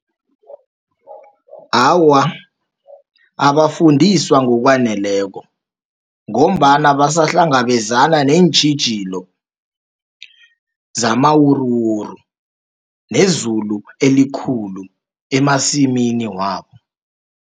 Awa, abafundiswa ngokwaneleko, ngombana basahlangabezana neentjhijilo zamawuruwuru, nezulu elikhulu emasimini wabo.